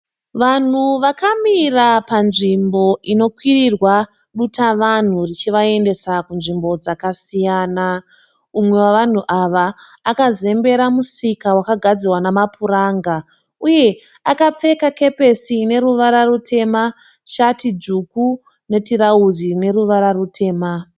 Vanhu vakamira panzvimbo inokwirirwa dutavanhu richivaendesa kunzvimbo dzakasiyana. Umwe wevanhu ava akazembera musika wakagadzirwa nemapuranga uye akapfeka kepesi ine ruvara rutema shati tsvuku netirauzi rine ruvara rutema.